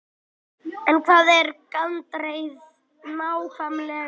En hvað er gandreið nákvæmlega?